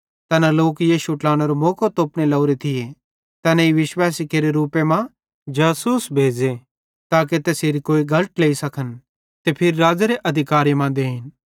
तैना लोक यीशुए ट्लानेरो मौको तोपने लोरे थिये तैनेईं विशवैसी केरे रुपे मां जासूस भेज़े ताके तैसेरी कोई गल ट्लेई सखन ते फिरी राज़ेरे अधिकारे मां देई देन